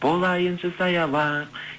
болайыншы саябақ